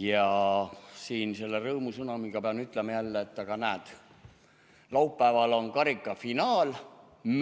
Ja siin selle rõõmusõnumiga pean ütlema jälle, et näe, laupäeval on karikafinaal,